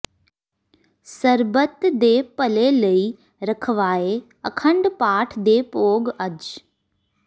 ਸਰਬੱਤ ਦੇ ਭਲੇ ਲਈ ਰਖਵਾਏ ਅਖੰਡ ਪਾਠ ਦੇ ਭੋਗ ਅੱਜ